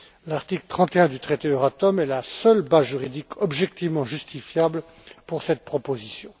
L'article 31 du traité Euratom est la seule base juridique objectivement justifiable pour cette proposition.